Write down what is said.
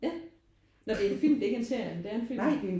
Ja. Når det er en film? Det er ikke en serie? Det er en film?